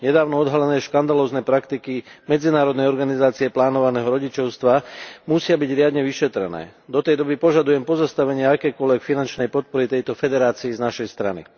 Nedávno odhalené škandalózne praktiky Medzinárodnej organizácie plánovaného rodičovstva musia byť riadne vyšetrené. Do tej doby požadujem pozastavenie akejkoľvek finančnej podpory tejto federácii z našej strany.